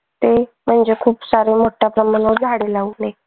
म्हणजे खूप सारे